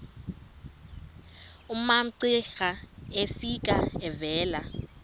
umamcira efika evela